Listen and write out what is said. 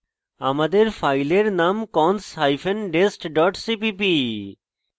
আমাদের ফাইলের নাম cons hyphen dest dot cpp